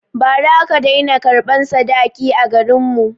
Ba ra aka dai na karɓan sadaki a garin mu